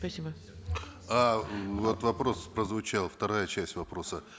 спасибо а вот вопрос прозвучал вторая часть вопроса